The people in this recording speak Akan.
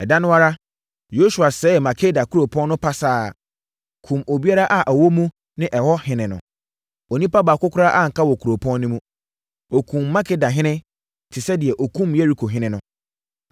Ɛda no ara, Yosua sɛee Makeda kuropɔn no pasaa, kumm obiara a ɔwɔ mu ne ɛhɔ ɔhene no. Onipa baako koraa anka wɔ kuropɔn no mu. Ɔkumm Makedahene te sɛ deɛ ɔkumm Yerikohene no.